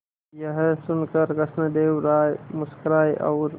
यह सुनकर कृष्णदेव राय मुस्कुराए और